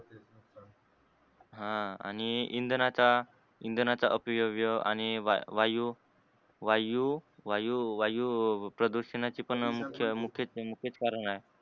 ह, आणि इंधनाचा, इंधनाचा अपव्यय आणि वायू वायू वायू वायू वायू प्रदूषणाची पण मुख्य मुख्य मुख्यच कारण आहे.